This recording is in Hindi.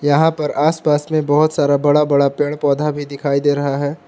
यहां पर आस पास में बहुत सारा बड़ा बड़ा पेड़ पौधा भी दिखाई दे रहा है।